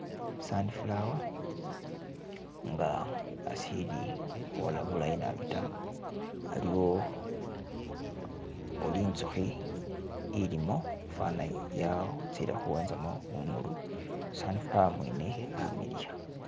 Sunflower nga asili hwola bulayi nabi taa, aliwo ori inzuhi ilimo fana yatsile huwenzamo bunulu, sunflower mwene amiliya